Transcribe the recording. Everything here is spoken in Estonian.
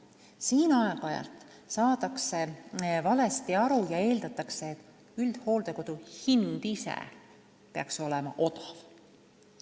Siin saadakse aeg-ajalt valesti aru ja eeldatakse, et üldhooldekodu hind ise peaks olema odav.